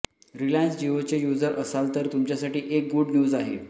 Reliance जिओचे users असाल तर तुमच्यासाठी एक गुड न्यूज आहे